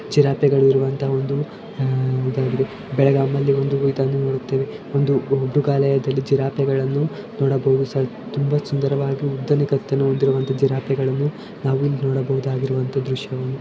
ಚಿರತೆಗಳು ಇರುವಂತ ಒಂದು ಆ ಬೆಳಗಾಂನಲ್ಲಿ ಒಂದು ಚೇತನು ನೋಡುತ್ತಿವೆ ಒಂದು ಮೃಗಾಲಯದಲ್ಲಿ ಜಿರಾಫೆಗಳನ್ನು ನೋಡಬಹುದು ಸರ್ ತುಂಬಾ ಸುಂದರವಾಗಿ ಉದ್ದನೆಯ ಕತ್ತನ್ನು ಹೊಂದಿರುವಂತಹ ಜಿರಾಫೆಗಳು ನಾವಿಲ್ಲಿ ನೋಡಬಹುದು ಆದಂತಹ ದೃಶ್ಯಗಳು.